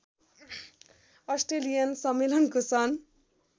Australian सम्मेलनको सन्